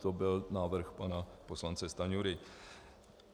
To byl návrh pana poslance Stanjury.